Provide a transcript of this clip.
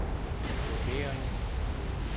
vurdering